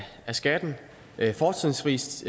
skatten fortrinsvis